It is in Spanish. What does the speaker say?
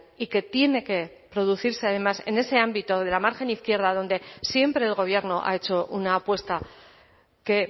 y que tiene que producirse además en ese ámbito de la margen izquierda donde siempre el gobierno ha hecho una apuesta que